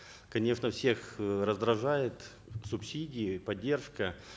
конечно всех э раздражает субсидии поддержка